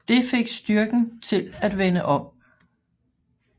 Det fik styrken til at vende om